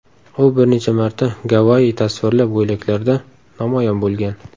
U bir necha marta Gavayi tasvirli ko‘ylaklarda namoyon bo‘lgan.